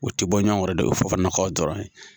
O tɛ bɔ ɲɔn kɔrɔ dɛ o ye Fofanala kaw dɔrɔn ye.